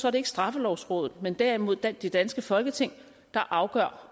er det ikke straffelovrådet men derimod det danske folketing der afgør